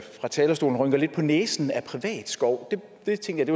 fra talerstolen rynker lidt på næsen af privat skov jeg tænkte at det